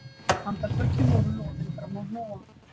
Handarbökin voru loðin fram á hnúa